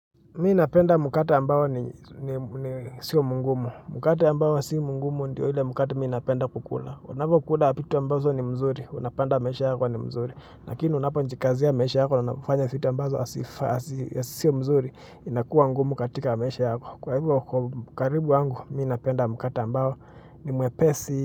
Mi napenda mkate ambao ni sio mgumu. Mkate ambao si mgumu ndiyo ile mkate mi napenda kukula. Unapokula vitu ambazo ni mzuri, unapata maisha yako ni mzuri. Lakini unapojikazia maisha yako na unapofanya vitu ambazo sio mzuri, inakua ngumu katika maisha yako. Kwa hivo, kwa ukaribu wangu, mi ninapenda mkate ambao ni mwepesi.